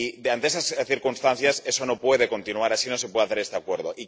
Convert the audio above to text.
Ante estas circunstancias, esto no puede continuar así y no se puede hacer este acuerdo.